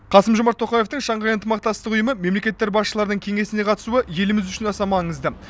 қасым жомарт тоқаевтың шанхай ынтымақтастық ұйымы мемлекеттер басшыларының кеңесіне қатысуы еліміз үшін аса маңызды